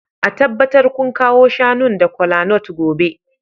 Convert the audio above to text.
A tabbatar kun kawo shanun da kolanut gobe